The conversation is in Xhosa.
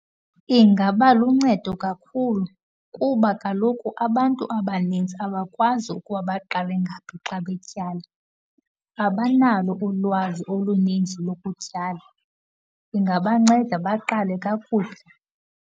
Ingaba luncedo kakhulu kuba kaloku abantu abanzinzi abakwazi ukuba baqale ngaphi xa betyala, abanalo ulwazi oluninzi lokutyala. Ingabanceda, baqale kakuhle.